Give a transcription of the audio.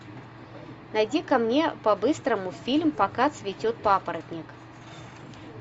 найди ка мне по быстрому фильм пока цветет папоротник